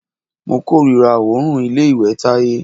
Mo kòrira òórùn ilé ìwẹ̀ Táyé.